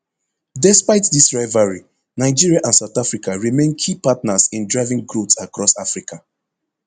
despite dis rivalry nigeria and south africa remain key partners in driving growth across africa